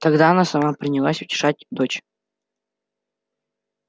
тогда она сама принялась утешать дочь